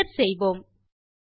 Enter செய்வோம்